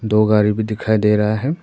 दो गाड़ी भी दिखाई दे रहा है।